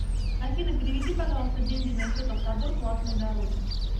афина переведи пожалуйста деньги на счет автодор платные дороги